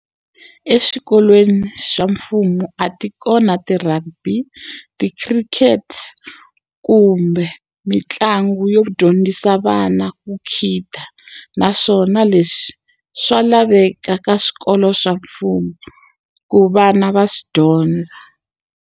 Eswikolweni swa mfumo a ti kona ti-rugby, ti-khirikhete kumbe mitlangu yo dyondzisa vana ku khida. Naswona leswi swa laveka ka swikolo swa mfumo, ku vana va swi dyondza.